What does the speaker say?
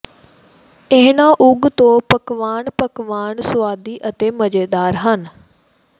ਇਹਨਾਂ ਉਗ ਤੋਂ ਪਕਵਾਨ ਪਕਵਾਨ ਸੁਆਦੀ ਅਤੇ ਮਜ਼ੇਦਾਰ ਹਨ